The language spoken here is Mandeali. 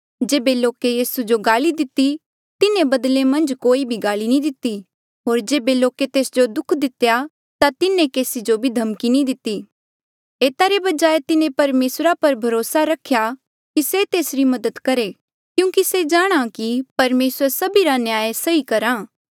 जेबे लोके यीसू जो गाल्ई दिती तिन्हें बदले मन्झ कोई भी गाल्ई नी दिती होर जेबे लोके तेस जो दुःख दितेया ता तिन्हें केसी जो भी धमकी नी दिती एता रे बजाय तिन्हें परमेसरा पर भरोसा रखेया कि से तेसरी मदद करहे क्यूंकि से जाणहां था की परमेसर सभीरा न्याय सही करहा